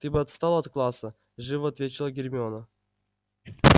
ты бы отстал от класса живо отвечал гермиона